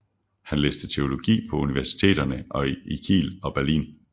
Han læste teologi på universiteterne i Kiel og Berlin